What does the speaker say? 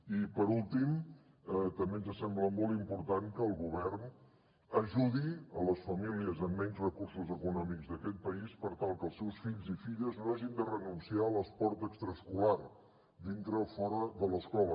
i per últim també ens sembla molt important que el govern ajudi les famílies amb menys recursos econòmics d’aquest país per tal que els seus fills i filles no hagin de renunciar a l’esport extraescolar dintre o fora de l’escola